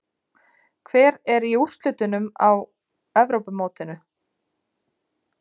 Hver er í úrslitunum á Evrópumótinu?